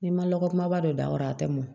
N'i ma lɔgɔ kumaba don da kɔrɔ a tɛ mɔn